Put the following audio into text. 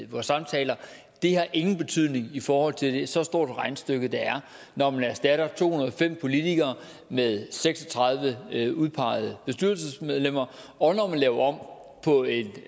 vores samtaler har ingen betydning i forhold til så stort et regnestykke der er når man erstatter to hundrede og fem politikere med seks og tredive udpegede bestyrelsesmedlemmer og når man laver om på et